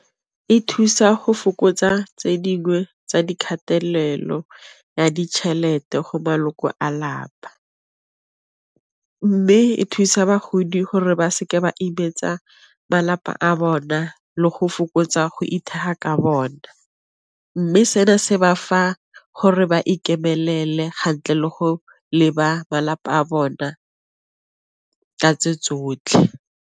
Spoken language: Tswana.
E thusa go fokotsa tse dingwe tsa dikgatelelo ya ditšhelete go maloko a lapa, mme e thusa bagodi gore ba seke ba imetsa malapa a bona le go fokotsa go ka bona, mme seno se ba fa gore ba ikemelela le go leba ba lapa a bona ka tse tsotlhe.